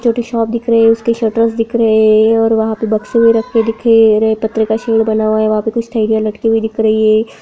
जो tea shop दिख रहे उसके शटर्स दिख रहे हैं और वहाँ पे बक्से भी रखे दिखे रहे पत्थर का शेड़ बना हुआ है वा पे कुछ थेलिया लटकी हुई दिख रही है।